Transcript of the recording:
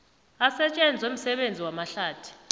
asetjenzwe msebenzi wamahlathi